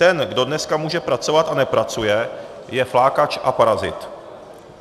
Ten, kdo dneska může pracovat a nepracuje, je flákač a parazit.